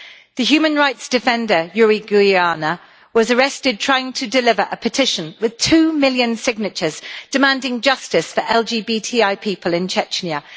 The human rights defender Yuri Guaiana was arrested trying to deliver a petition with two million signatures, demanding justice for LGBTI people in Chechnya.